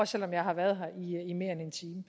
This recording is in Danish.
selv om jeg har været her i mere end en time